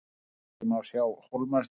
til vinstri má sjá hólmatind